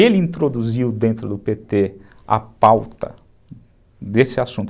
Ele introduziu dentro do pê tê a pauta desse assunto.